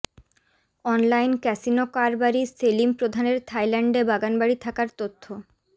online casino কারবারি সেলিম প্রধানের থাইল্যান্ডে বাগানবাড়ি থাকার তথ্য